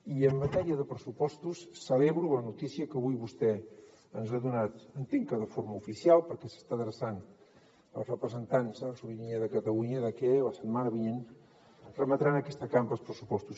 i en matèria de pressupostos celebro la notícia que avui vostè ens ha donat entenc que de forma oficial perquè s’està adreçant als representants de la ciutadania de catalunya que la setmana vinent remetrà a aquesta cambra els pressupostos